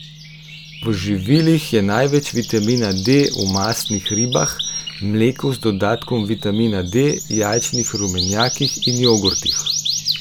V živilih je največ vitamina D v mastnih ribah, mleku z dodatkom vitamina D, jajčnih rumenjakih in jogurtih.